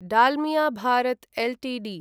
Dalmia Bharat Ltd